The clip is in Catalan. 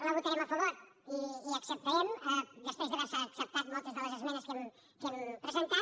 la votarem a favor i l’acceptarem després d’haver se acceptat moltes de les esmenes que hi hem presentat